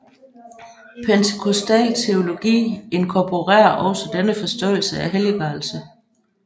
Pentekostal teologi inkorporerer også denne forståelse af helliggørelse